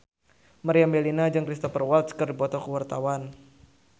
Meriam Bellina jeung Cristhoper Waltz keur dipoto ku wartawan